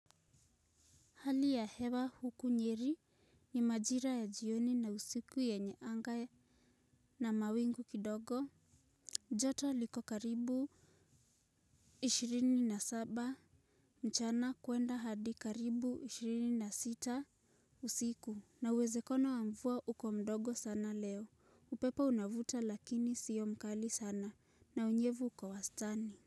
Hali ya hewa huku nyeri ni majira ya jioni na usiku yenye anga na mawingu kidogo. Joto liko karibu ishirini na saba mchana kuenda hadi karibu ishirini na sita usiku. Na uwezekano wa mvua uko mdogo sana leo. Upepo unavuta lakini siyo mkali sana na unyevu uko wastani.